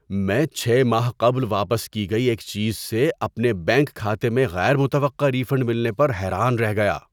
میں چھ ماہ قبل واپس کی گئی ایک چیز سے اپنے بینک کھاتے میں غیر متوقع ری فنڈ ملنے پر حیران رہ گیا۔